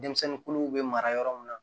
Denmisɛnnin kolow bɛ mara yɔrɔ min na